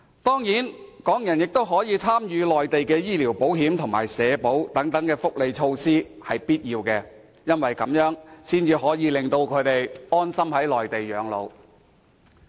當然，讓港人可以參與內地的醫療保險及社會保險等福利措施也是必需的，因為這樣才會令他們安心在內地養老。